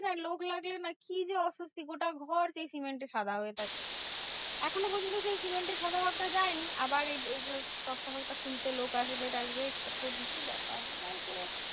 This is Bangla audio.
লোক লাগলে না কি যে অসস্থি গোটা ঘর সেই সিমেন্টে সাদা হয়ে থাকে। এখনো পর্যন্ত সেই সিমেন্টের সাদা ভাবটা যায়নি। আবার এই এই যে তক্তা ফকতা খুলতে লোক আসবে টাসবে কত কিছু ব্যাপার? মানে সে